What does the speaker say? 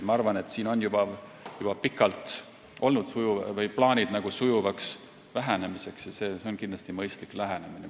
Ma arvan, et siin on juba pikalt olnud plaanid sujuvaks vähenemiseks ja see on kindlasti mõistlik lähenemine.